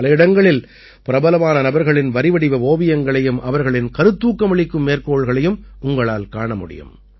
பல இடங்களில் பிரபலமான நபர்களின் வரிவடிவ ஓவியங்களையும் அவர்களின் கருத்தூக்கமளிக்கும் மேற்கோள்களையும் உங்களால் காண முடியும்